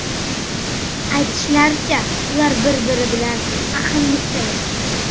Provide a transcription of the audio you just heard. Aytishlaricha, ular bir-biri bilan ahillikda yashagan.